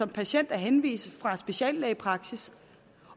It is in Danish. patient er henvist fra en speciallægepraksis